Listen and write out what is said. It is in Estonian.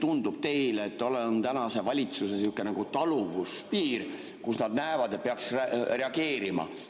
Kuidas teile tundub, milline on tänase valitsuse sihukene taluvuspiir, kus nad näevad, et peaks reageerima?